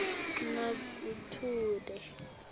nagethude